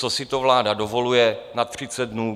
Co si to vláda dovoluje na třicet dnů?